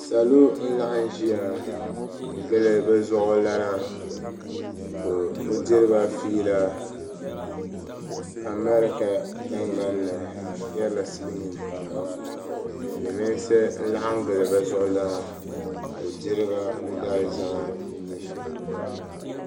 Salo n laɣim ʒiya n gili bi zuɣulana ka o diri ba fiila amarika tingban ni n yari la silmiin tiŋa silmiinsi n laɣim gili bi zuɣulana ka o diri ba o daalizama ni nyɛ shɛli.